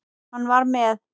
Hann var með